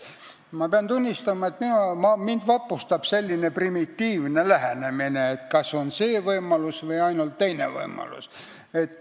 Ma pean tunnistama, et mind vapustab selline primitiivne lähenemine, et kas on ainult see võimalus või ainult teine võimalus.